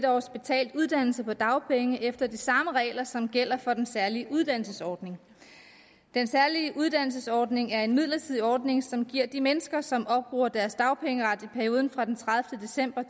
års betalt uddannelse på dagpenge efter de samme regler som gælder for den særlige uddannelsesordning den særlige uddannelsesordning er en midlertidig ordning som giver de mennesker som opbruger deres dagpengeret i perioden fra den tredivete december